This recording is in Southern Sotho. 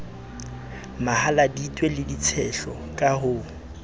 mahaladitwe le ditshehlo ka ho